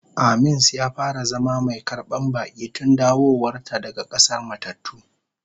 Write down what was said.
Aamins ya fara zama mai karban baki tun dawowar ta daga k'asar matattu.